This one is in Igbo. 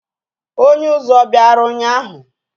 Onye uzú o biara ụnyahụ?